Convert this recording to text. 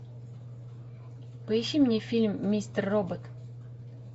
поищи мне фильм мистер робот